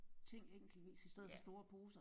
Ting enkeltvis i stedet for store poser